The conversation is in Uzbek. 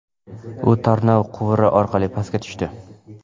U tarnov quvuri orqali pastga tushdi.